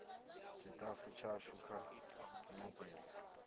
tshitafu tshashu kha u nekedza